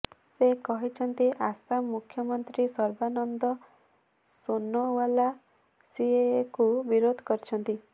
ସେ କହିଛନ୍ତି ଆସାମ ମୁଖ୍ୟମନ୍ତ୍ରୀ ସର୍ବାନନ୍ଦ ସୋନୋଓ୍ବାଲ ସିଏଏକୁ ବିରୋଧ କରିଛନ୍ତି